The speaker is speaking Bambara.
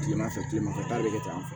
Kilema fɛ kilema fɛ ta bɛ kɛ tan